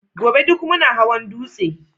gobe duk muna hawan dutse